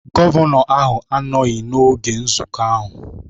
Gọvanọ ahụ anọghị n'oge nzukọ ahụ